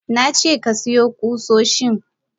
Nace kasiyo kusoshin!